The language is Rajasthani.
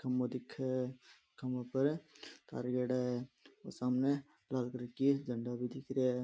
खम्बो दिखे है खंबा पर तार गएडा है और सामने लाल कलर की झंडा भी दिख रेहा है।